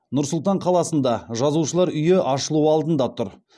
нұр сұлтан қаласында жазушылар үйі ашылу алдында тұр